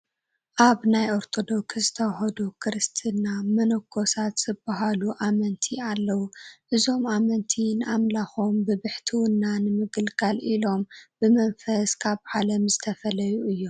ኣብ ናይ ኦርቶዶክስ ተዋህዶ ክርስትና መነኮሳት ዝበሃሉ ኣመንቲ ኣለዉ፡፡ እዞም ኣመንቲ ንኣምላኾም ብብሕትውና ንምግልጋል ኢሎም ብመንፈስ ካብ ዓለም ዝተፈለዩ እዮም፡፡